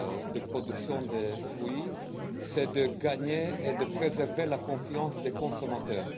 de la production des fruits est de gagner et de préserver la confiance des consommateurs.